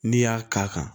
N'i y'a k'a kan